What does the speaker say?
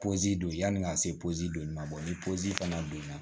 don yani ka se donni ma ni pozi fana donna